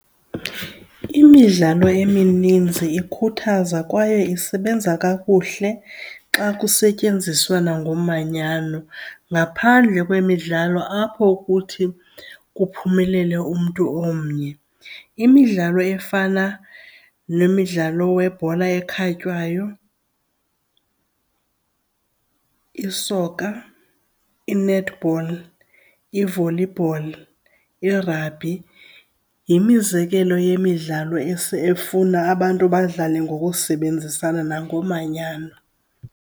Imidlalo emininzi ikhuthaza kwaye isebenza kakuhle xa kusetyenziswana ngomanyano ngaphandle kwemidlalo apho kuthi kuphumelele umntu omnye. Imidlalo efana nemidlalo webhola ekhatywayo, i-soccer, i-netball, i-volleyball, i-rugby yimizekelo yemidlalo efuna abantu badlale ngokusebenzisa nangomanyano.